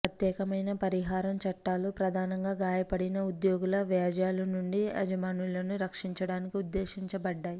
ప్రత్యేకమైన పరిహారం చట్టాలు ప్రధానంగా గాయపడిన ఉద్యోగుల వ్యాజ్యాల నుండి యజమానులను రక్షించడానికి ఉద్దేశించబడ్డాయి